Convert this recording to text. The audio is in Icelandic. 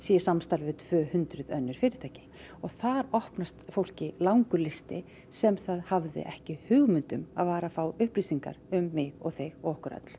í samstarfi við tvö hundruð önnur fyrirtæki og þar opnast fólki langur listi sem það hafði ekki hugmynd um að var að fá upplýsingar um mig og þig og okkur öll